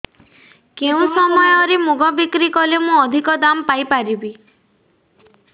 କେଉଁ ସମୟରେ ମୁଗ ବିକ୍ରି କଲେ ମୁଁ ଅଧିକ ଦାମ୍ ପାଇ ପାରିବି